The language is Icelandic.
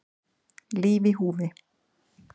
Líf í húfi